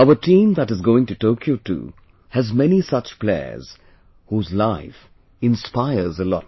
Our team that is going to Tokyo too has many such players whose life inspires a lot